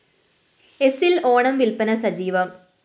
എസില്‍ ഓണം വില്‍പ്പന സജീവം